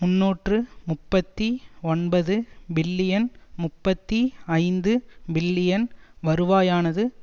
முன்னூற்று முப்பத்தி ஒன்பது பில்லியன் முப்பத்தி ஐந்து பில்லியன் வருவாயானது